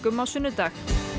á sunnudag